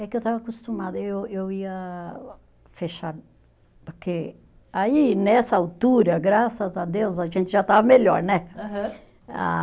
É que eu estava acostumada, eu eu ia fechar, porque aí, nessa altura, graças a Deus, a gente já estava melhor, né? Aham. A